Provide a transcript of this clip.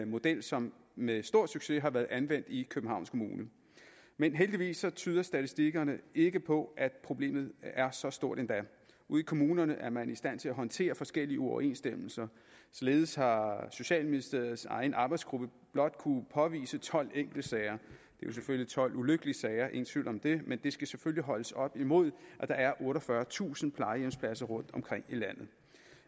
model som med stor succes er blevet anvendt i københavns kommune men heldigvis tyder statistikkerne ikke på at problemet er så stort endda ude i kommunerne er man i stand til at håndtere forskellige uoverensstemmelser således har socialministeriets egen arbejdsgruppe blot kunne påvise tolv enkeltsager det jo selvfølgelig tolv ulykkelige sager ingen tvivl om det men det skal selvfølgelig holdes op imod at der er otteogfyrretusind plejehjemspladser rundtomkring i landet